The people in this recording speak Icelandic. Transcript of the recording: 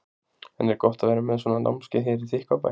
En er gott að vera með svona námskeið hér í Þykkvabæ?